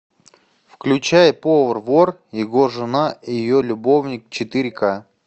включай повар вор его жена и ее любовник четыре ка